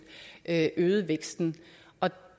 at